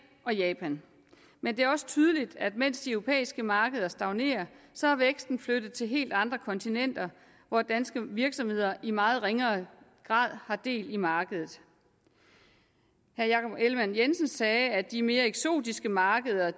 og japan men det er også tydeligt at mens de europæiske markeder stagnerer så er væksten flyttet til helt andre kontinenter hvor danske virksomheder i meget ringere grad har del i markedet herre jakob ellemann jensen sagde at de mere eksotiske markeder